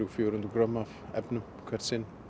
til fjögur hundruð grömm af efnum hvert sinn